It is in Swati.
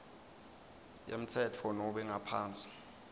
yemtsetfo nobe ngaphansi